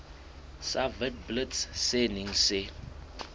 sa witblits se neng se